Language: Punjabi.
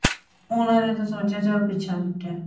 ਉਹਨਾਂ ਨੇ ਤਾਂ ਸੋਚਿਆ ਚਲੋ ਪਿੱਛਾ ਛੁਟਿਆ